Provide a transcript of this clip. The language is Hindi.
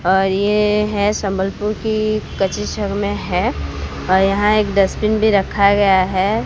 और ये है संबलपुर की में है और यहां एक डस्टबिन भी रखा गया है।